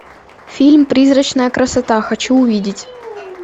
фильм призрачная красота хочу увидеть